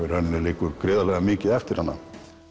í rauninni liggur gríðarmikið eftir hana